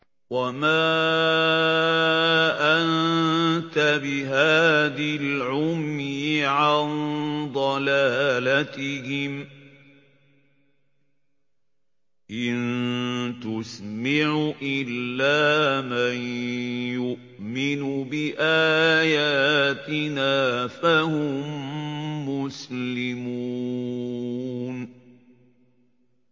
وَمَا أَنتَ بِهَادِ الْعُمْيِ عَن ضَلَالَتِهِمْ ۖ إِن تُسْمِعُ إِلَّا مَن يُؤْمِنُ بِآيَاتِنَا فَهُم مُّسْلِمُونَ